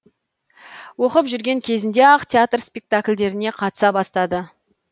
оқып жүрген кезінде ақ театр спектакльдеріне қатыса бастады